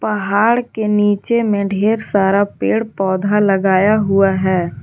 पहाड़ के नीचे में ढेर सारा पेड़ पौधा लगाया हुआ है।